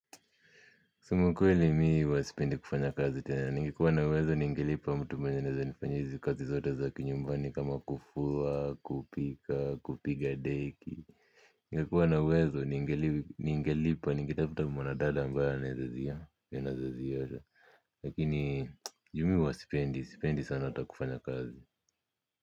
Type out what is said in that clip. Kusema ukweli mi huwa sipendi kufanya kazi tena, ningekuwana uwezo ningelipa mtu mwenye anaweza nifanyia hizi kazi zote za kinyumbani kama kufua, kupika, kupiga deki. Ningekuwa na uwezo ningelipa, ningetafuta mwana dada ambaye anaweza ziosha. Lakini juu mi huwa sipendi, sipendi sana hata kufanya kazi.